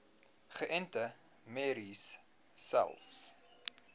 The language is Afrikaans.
geënte merries selfs